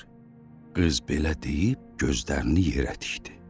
Qız belə deyib gözlərini yerə tikdi.